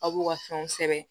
Aw b'u ka fɛnw sɛbɛn